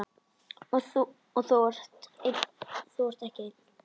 Og þú ert ekki einn.